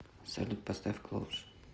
салют поставь клоус